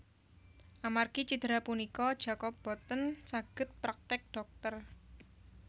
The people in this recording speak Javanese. Amargi cidera punika Jacob boten saged praktek dhokter